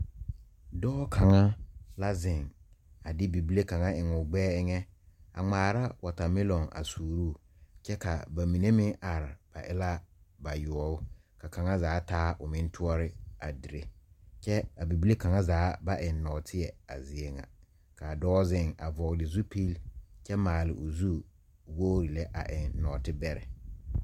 Doɔ kanga la zeng a de bibile kanga en ɔ gbɛɛ enga a ngmaara watamelon a suuroo kye ka ba mene meng arẽ ba e la bayɔɔbu ka kanga zaa taa ɔ meng touri a diree kye a bibile kanga zaa ba en noɔtei a zeɛ nga kaa doɔ zeng a vɔgle zupili kye maale ɔ zu wɔgre le a en noɔte bɛreɛ.